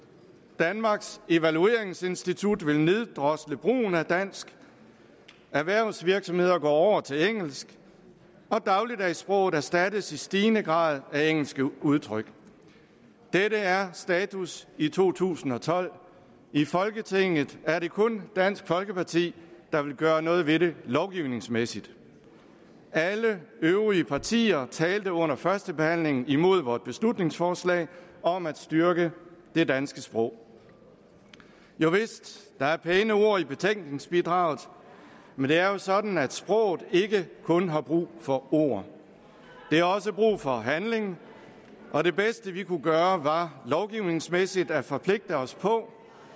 danmarks evalueringsinstitut vil neddrosle brugen af dansk erhvervsvirksomheder går over til engelsk og dagligdagssproget erstattes i stigende grad af engelske udtryk dette er status i to tusind og tolv i folketinget er det kun dansk folkeparti der vil gøre noget ved det lovgivningsmæssigt alle øvrige partier talte under førstebehandlingen imod vort beslutningsforslag om at styrke det danske sprog jovist der er pæne ord i betænkningsbidraget men det er jo sådan at sproget ikke kun har brug for ord det har også brug for handling og det bedste vi kunne gøre var lovgivningsmæssigt at forpligte os på